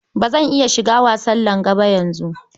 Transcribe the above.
Ba zan iya shiga wasan langa ba yanzu.